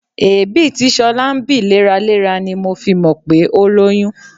Èébì tí ṣọlá ń bì léraléra ni a fi mọ̀ pé o lóyún